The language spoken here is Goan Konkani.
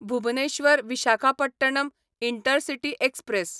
Bhubaneswar Visakhapatnam intercity express